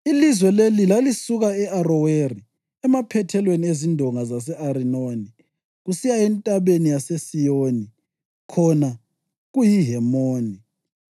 Ilizwe leli lalisuka e-Aroweri emaphethelweni ezindonga zase-Arinoni kusiya entabeni yaseSiyoni (khona kuyiHemoni),